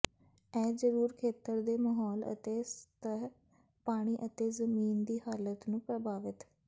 ਇਹ ਜ਼ਰੂਰ ਖੇਤਰ ਦੇ ਮਾਹੌਲ ਅਤੇ ਸਤਹ ਪਾਣੀ ਅਤੇ ਜ਼ਮੀਨ ਦੀ ਹਾਲਤ ਨੂੰ ਪ੍ਰਭਾਵਿਤ